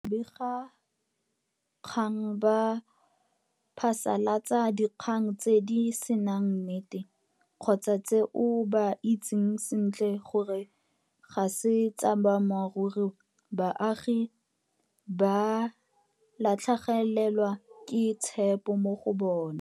Fa babegakgang ba phasalatsa dikgang tse di senang nnete kgotsa tseo ba itseng sentle gore ga se tsa boammaruri, baagi ba latlhegelwa ke tshepo mo go bona.